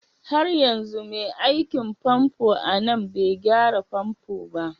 Har yanzu mai aikin famfo a nan bai gyara famfo ba?